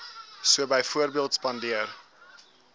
so byvoorbeeld spandeer